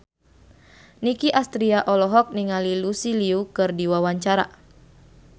Nicky Astria olohok ningali Lucy Liu keur diwawancara